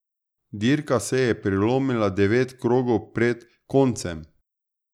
Dirka se je prelomila devet krogov pred koncem.